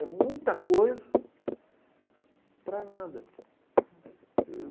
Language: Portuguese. É muita coisa para nada. Hum...